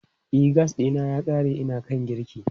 E, gas ɗina ya ƙare ina kan girki.